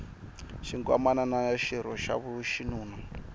xinkwamana xa xirho xa xinuna